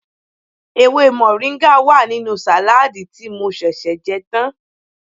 Ewé mọ̀ríńgà wà nínú sàládì tí mo ṣẹ̀ṣẹ̀ jẹ́ tán